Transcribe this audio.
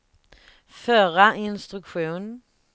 förra instruktion